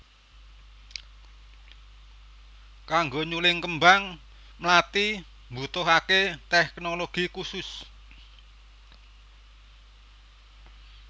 Kanggo nyuling kembang mlathi mbutuhaké téknologi khusus